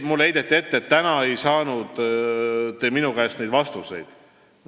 Mulle heideti ette, et te ei saanud täna minu käest vastuseid.